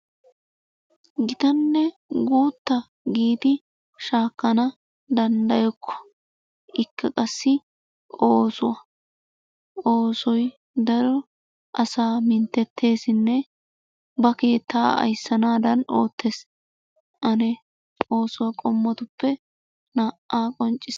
Gittanne guutta giidi shakkanawu dandayokko ikka qassi oosuwaa, oosoy daro asa minttetesinne ba keetta ayssanadan oottes. Anne oosuwaa qommotuppe na'aa qoncisitte.